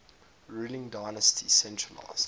ruling dynasty centralised